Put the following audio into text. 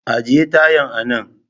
Ajiye tayan a nan